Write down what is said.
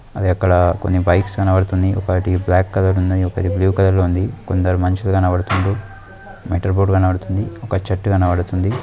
అది అక్కడ కొన్ని బైక్స్ కనబడుతున్నాయి. ఒకటి బ్లాక్ కలర్ ఉన్నయి. కొన్ని బ్లూ కలర్ ఉంది. కొందరు మనుషులు కనబడుతున్నారు. మెటల్ బోర్డ్ కనబడుతుంది. ఒక చెట్టు కనబడుతుంది.